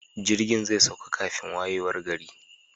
Jirgin zai sauka kafin wayewar gari.